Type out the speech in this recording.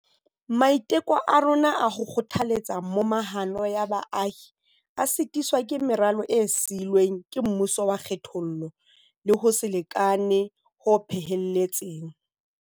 Maiteko a rona a ho kgothaletsa momahano ya baahi a sitiswa ke meralo e sii lweng ke mmuso wa kgethollo le ho se lekane ho phehelletseng.